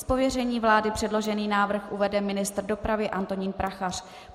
Z pověření vlády předložený návrh uvede ministr dopravy Antonín Prachař.